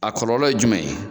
A kɔlɔlɔ ye jumɛn ye?